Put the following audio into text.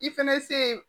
I fɛnɛ se